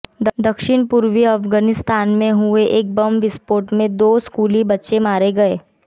दक्षिण पूर्वी अफ़ग़ानिस्तान में हुए एक बम विस्फोट में दो स्कूली बच्चे मारे गए